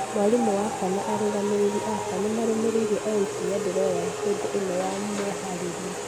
Mwarimũ wakwa na arũgamĩrĩri akwa ni marũmĩreirie o ikinya ndĩroya hĩdi ino ya meharĩria